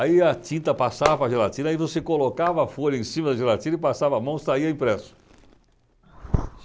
Aí a tinta passava a gelatina e você colocava a folha em cima da gelatina e passava a mão e saía impresso.